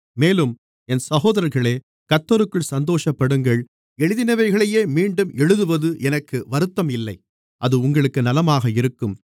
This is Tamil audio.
மேலும் என் சகோதரர்களே கர்த்தருக்குள் சந்தோஷப்படுங்கள் எழுதினவைகளையே மீண்டும் எழுதுவது எனக்கு வருத்தம் இல்லை அது உங்களுக்கு நலமாக இருக்கும்